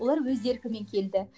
олар өз еркімен келді